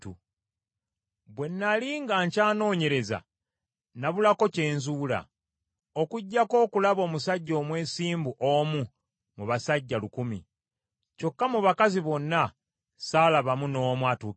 bwe nnali nga nkyanoonyereza nabulako kye nzuula, okuggyako okulaba omusajja omwesimbu omu mu basajja lukumi, kyokka mu bakazi bonna ssaalabamu n’omu atuukiridde.